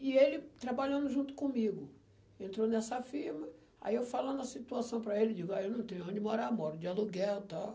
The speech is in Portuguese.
E ele trabalhando junto comigo, entrou nessa firma, aí eu falando a situação para ele, digo, eu não tenho onde morar, moro de aluguel e tal.